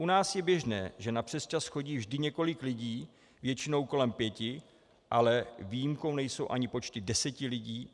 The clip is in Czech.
U nás je běžné, že na přesčas chodí vždy několik lidí, většinou kolem pěti, ale výjimkou nejsou ani počty deseti lidí.